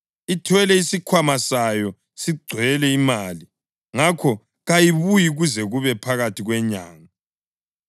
Ithwele isikhwama sayo sigcwele imali, ngakho kayibuyi kuze kube phakathi kwenyanga.”